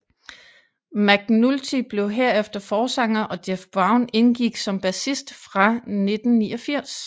McNulty blev herefter forsanger og Jeff Brown indgik som bassist fra 1989